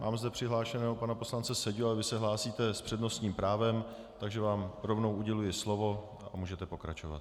Mám zde přihlášeného pana poslance Seďu, ale vy se hlásíte s přednostním právem, takže vám rovnou uděluji slovo a můžete pokračovat.